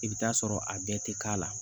I bɛ taa sɔrɔ a bɛɛ tɛ k'a la